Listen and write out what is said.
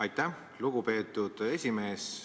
Aitäh, lugupeetud esimees!